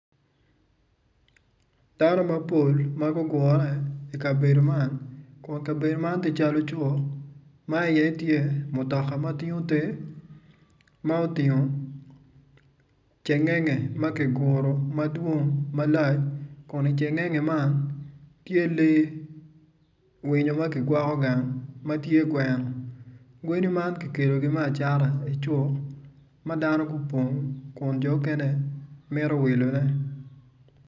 Dano mapol magugure i kabedo man kun kabedo man tye calo cuk ma i ye tye mutoka matingo ter ma oting cengenge makiguro madwong malac kun icengenge man tye lee winyo makigwoko gang matye gweno gweni man kikelo me acata i cuk madano gupong kun jo mukene mito wilone.